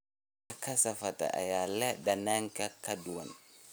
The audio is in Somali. Dhadhanka kasaafada ayaa leh dhadhan ka duwan.